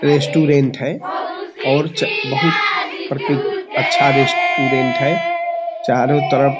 Restaurant है और जा बहुत अच्छा रेस्टोरेंट है चारों तरफ।